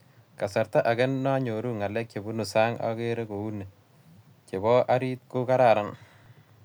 kasarta age nayoru ngalek che bunu sang ageree kouni che bo arit ko kararan